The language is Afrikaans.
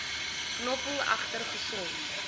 knoffel egter gesond